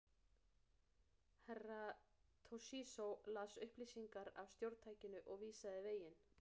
Herra Toshizo las upplýsingar af stjórntækinu og vísaði veginn.